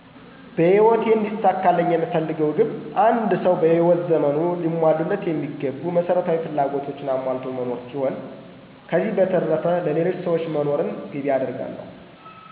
በህይወቴ እንዲሳካልኝ የምፈልገው ግብ አንድ ሰው በህይወት ዘመኑ ሊሟሉለት የሚገቡ መሰረታዊ ፍላጎቶችን አሟልቶ መኖ ሲሆን፤ ከዚህ በተረፈ ለሌሎች ሰዎች መኖርን ግቤ አደርጋለሁ።